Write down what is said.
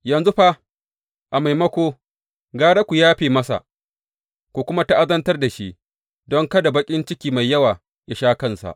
Yanzu fa, a maimako, gara ku yafe masa, ku kuma ta’azantar da shi, don kada baƙin ciki mai yawa yă sha kansa.